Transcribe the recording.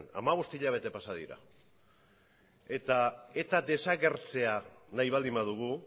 hamabost hilabete pasa dira eta eta desagertzea nahi baldin badugu